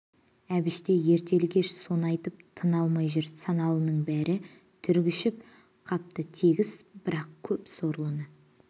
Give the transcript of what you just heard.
әбіш те ертелі-кеш соны айтысып тына алмай жүр саналының бәрі түршігіп қапты тегіс бірақ көп сорлыны